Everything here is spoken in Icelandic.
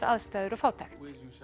aðstæður og fátækt